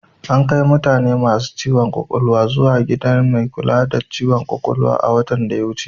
Ankai mutane masu ciwon ƙwaƙwalwa zuwa gidan kula da mai ciwon ƙwaƙwalwa a watan da ya wuce.